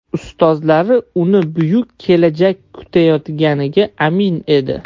Ustozlari uni buyuk kelajak kutayotganiga amin edi.